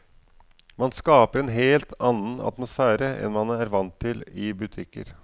Man skaper en helt annen atmosfære enn man er vant til i butikker.